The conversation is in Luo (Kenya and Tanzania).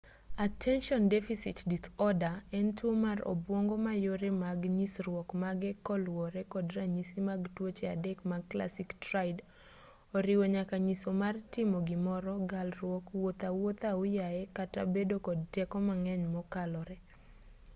attention deficit disorder en tuo mar obwongo ma yore mag nyisruok mage koluwore kod ranyisi mag tuoche adek mag classic triad oriwo nyaka siso mar timo gimoro galruok wuotho awuotha ahuyayi kata bedo kod teko mang'eny mokalore